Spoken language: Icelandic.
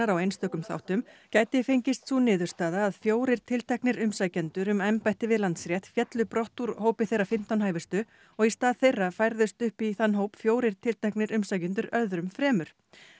á einstökum þáttum gæti fengist sú niðurstaða að fjórir tilteknir umsækjendur um embætti við Landsrétt féllu brott úr hópi þeirra fimmtán hæfustu og í stað þeirra færðust upp í þann hóp fjórir tilteknir umsækjendur öðrum fremur